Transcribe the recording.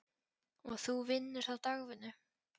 Og þú vinnur þá dagvinnu?